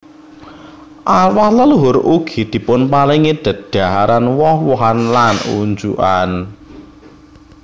Arwah leluhur ugi dipunparingi dedhaharan woh wohan lan unjukan